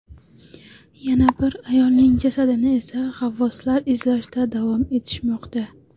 Yana bir ayolning jasadini esa g‘avvoslar izlashda davom etishmoqda.